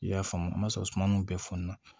I y'a faamu n m'a sɔrɔ suma nunnu bɛɛ fɔn na